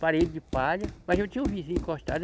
parede de palha, mas eu tinha um vizinho encostado.